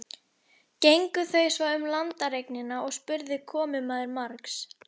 Gengu þau svo um landareignina og spurði komumaður margs.